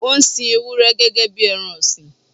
Ó ń sin Ewúrẹ́ gẹ́gẹ́ bí ẹran ọ̀sìn.